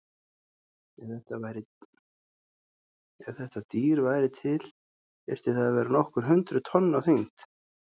Ef þetta dýr væri til þyrfti það að vera nokkur hundruð tonn á þyngd.